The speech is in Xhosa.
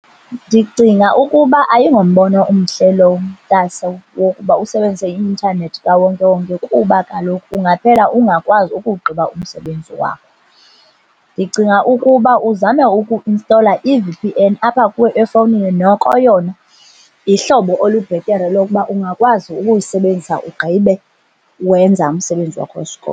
Ndicinga ukuba ayingombono omhle lowo, mntase, wokuba usebenzise i-intanethi kawonke-wonke kuba kaloku ungaphela ungakwazi ukuwugqiba umsebenzi wakho. Ndicinga ukuba uzame ukuinstola i-V_P_N apha kuwe efowunini. Noko yona, lihlobo olubhetere lokuba ungakwazi ukuyisebenzisa ugqibe wenza umsebenzi wakho wesikolo.